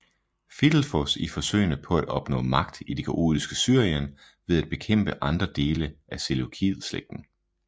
Fidelfos i forsøgene på at opnå magt i det kaotiske Syrien ved at bekæmpe andre dele af seleukideslægten